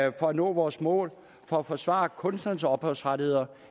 at nå vores mål og forsvare kunstnernes ophavsrettigheder